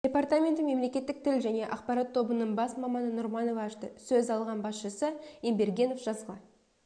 департаменті мемлекеттік тіл және ақпарат тобының бас маманы нұрманова ашты сөз алған басшысы ембергенов жазғы